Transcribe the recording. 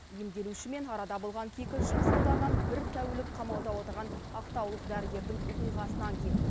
емделушімен арада болған кикілжің салдарынан бір тәулік қамауда отырған ақтаулық дәрігердің оқиғасынан кейін